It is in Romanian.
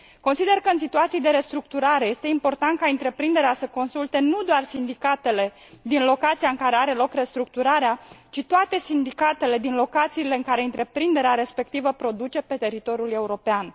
Consider că, în situații de restructurare, este important ca întreprinderea să consulte nu doar sindicatele din locația în care are loc restructurarea, ci toate sindicatele din locațiile în care întreprinderea respectivă produce pe teritoriul european.